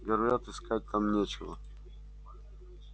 говорят искать там нечего